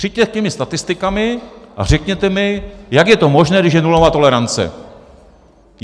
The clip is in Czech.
Přijďte s těmi statistikami a řekněte mi, jak je to možné, když je nulová tolerance.